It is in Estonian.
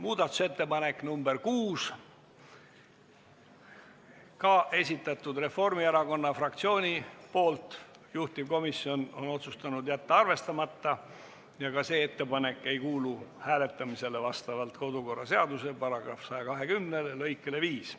Muudatusettepanek nr 6, esitaja on Reformierakonna fraktsioon, juhtivkomisjon on otsustanud jätta arvestamata ja ka see ettepanek ei kuulu hääletamisele vastavalt kodukorraseaduse § 120 lõikele 5.